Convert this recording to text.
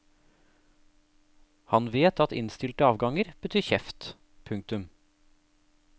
Han vet at innstilte avganger betyr kjeft. punktum